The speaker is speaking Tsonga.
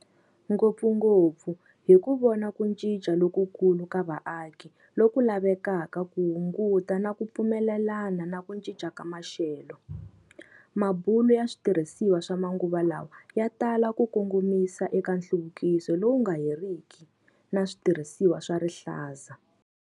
Ngopfungopfu hi ku vona ku cinca lokukulu ka vaaki loku lavekaka ku hunguta na ku pfumelelana na ku cinca ka maxelo, mabulo ya switirhisiwa swa manguva lawa ya tala ku kongomisa eka nhluvukiso lowu nga heriki na switirhisiwa swa rihlaza.